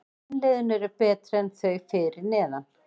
Hin liðin eru betri en þau fyrir neðan.